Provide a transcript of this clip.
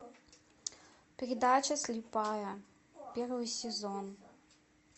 передача слепая первый сезон